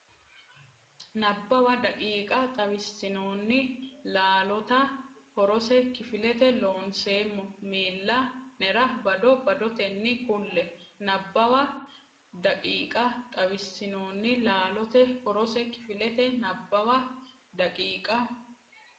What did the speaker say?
Nabbawa daqiiqa xawissinoonni laalota horose kifilete Loonseemmo miilla nera bado badotenni kulle Nabbawa daqiiqa xawissinoonni laalota horose kifilete Nabbawa daqiiqa.